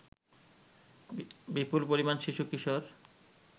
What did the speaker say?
বিপুল পরিমাণ শিশু-কিশোর